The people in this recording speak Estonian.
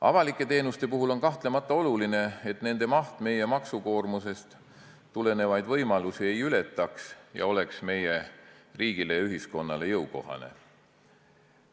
Avalike teenuste puhul on kahtlemata oluline, et nende maht meie maksukoormusest tulenevaid võimalusi ei ületaks ja oleks meie riigile ja ühiskonnale jõukohane.